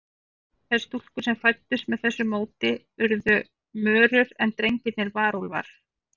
Þær stúlkur sem fæddust með þessu móti urðu mörur, en drengirnir varúlfar.